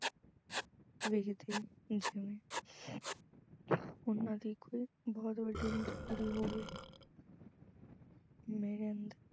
ਵੇਖਦੀ ਜਿਵੇਂ ਉਹਨਾਂ ਦੀ ਕੋਈ ਬਹੁਤ ਵੱਡੀ ਮਜ਼ਬੂਰੀ ਹੋਵੇ। ਮੇਰੇ ਅੰਦਰ